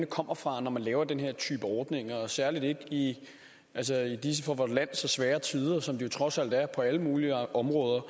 kommer fra når man laver den her type ordninger og særlig ikke i disse for vort land så svære tider som det jo trods alt er på alle mulige områder